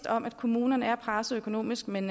om at kommunerne er presset økonomisk men